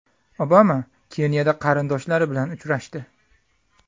Obama Keniyada qarindoshlari bilan uchrashdi.